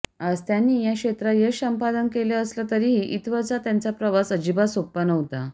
आज त्यांनी या क्षेत्रात यश संपादन केलं असलं तरीही इथंवरचा त्यांचा प्रवास अजिबात सोपा नव्हता